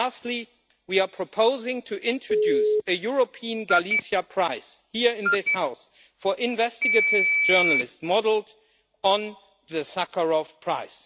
And lastly, we are proposing the introduction of a European Galizia prize here in this House for investigative journalists, modelled on the Sakharov Prize.